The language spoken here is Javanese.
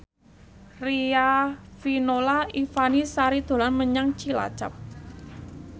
Riafinola Ifani Sari dolan menyang Cilacap